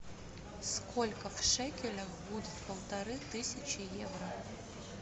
сколько в шекелях будет полторы тысячи евро